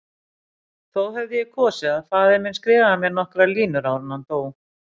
Þó hefði ég kosið að faðir minn skrifaði mér nokkrar línur áður en hann dó.